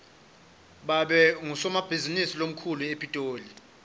babe ngusomabhizinisi lomkhulu epitoli